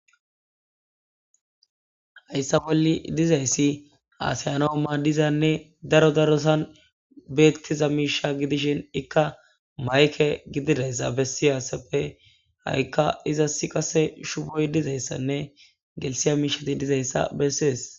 hayssa bolli dizayssi aasiyanoo maaddizanne daro darosan beettiza miisha gidishin ikka mayke gididayssa bessiyassappe ha7ikka iza si qase shuboy dizayssanne gelisiya miishati dizayssa bessees